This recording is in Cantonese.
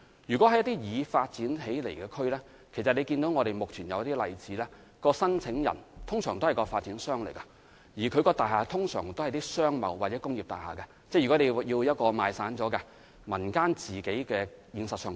如果是已發展的地區，正如大家所見，目前一些例子是申請人通常是發展商，而其大廈通常屬於商貿或工業大廈，因為如果業權過於分散，業主未必願意自行興建有關設施。